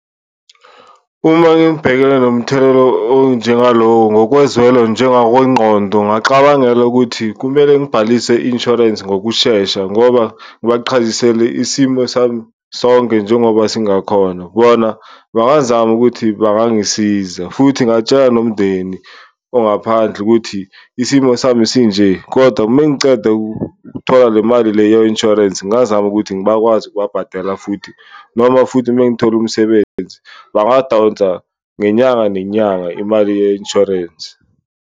Uma ngibhekene nomthelelo onjengalo ngokozwelo njengangokwengqondo ngingaxabangela ukuthi kumele ngibhalise i-insurance ngokushesha ngoba ngibaqhazisele isimo sami sonke njengoba singakhona, bona bangazama ukuthi bangangisiza. Futhi ngingatshela nomndeni ongaphandle ukuthi isimo sami sinje, kodwa uma ngiceda ukuthola le mali le ye-insurance ngingazama ukuthi ngibakwazi ukubhatela. Futhi noma futhi mangithola umsebenzi bangadonsa ngenyanga nenyanga imali ye-insurance.